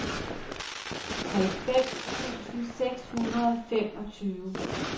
halvfems tusind seks hundrede og femogtyve